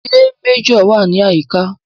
Ṣé Méjọ̀ wà ní àyíká?